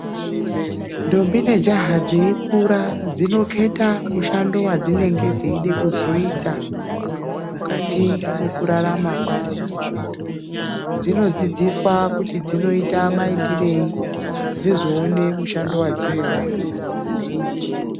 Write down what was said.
Ndombi ne jaha dzeyi kura dzinoketa mushando wadzinenge dzeide kuzoita mukati mweku rarama kwadzo dzino dzidziswa kuti dzinoita maitirei dzizoone mushando wadzinoda.